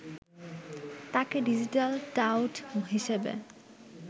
তাকে digital tout হিসেবে